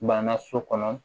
Banna so kɔnɔ